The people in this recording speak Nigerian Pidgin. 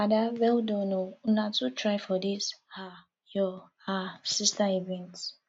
ada well done oo una too try for dis um your um sister event